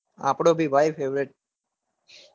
આપડો બી છે ભાઈ.